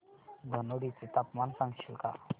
धनोडी चे तापमान सांगशील का